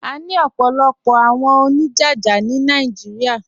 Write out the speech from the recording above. À ní ọ̀pọ̀lọ̀pọ̀ àwọn oníjájá ni Naijíríà.